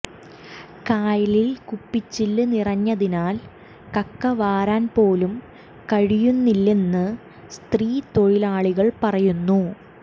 കായലിൽ കുപ്പിച്ചില്ല് നിറഞ്ഞതിനാൽ കക്ക വാരാൻപോലും കഴിയുന്നില്ലെന്ന് സ്ത്രീ തൊഴിലാളികളും പറയുന്നു